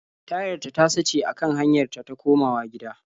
Tayarta ta sace a kan hanyar ta ta komawa gida.